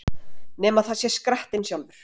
Nema það sé skrattinn sjálfur!